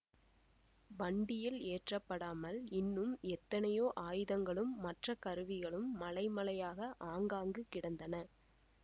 வண்டியில் ஏற்றப்படாமல் இன்னும் எத்தனையோ ஆயுதங்களும் மற்ற கருவிகளும் மலைமலையாக ஆங்காங்கு கிடந்தன